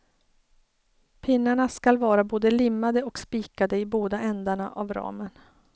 Pinnarna skall vara både limmade och spikade i båda ändarna av ramen.